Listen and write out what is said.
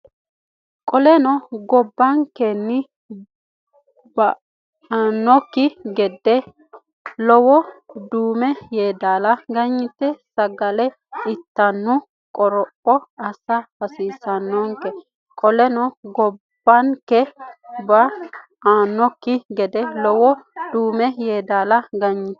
Qoleno gobbankenni ba annokki gede lowo Duume Yeedaala ganyite saga litannohu qoropho assa hasiissannonke Qoleno gobbankenni ba annokki gede lowo Duume Yeedaala ganyite.